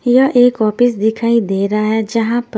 यहाँ एक ऑफिस दिखाई दे रहा है जहाँ पर--